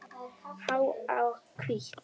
Há og hvít.